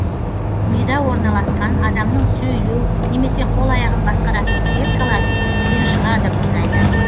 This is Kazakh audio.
мида орналасқан адамның сөйлеу немесе қол аяғын басқаратын клеткалар істен шығады бұндайда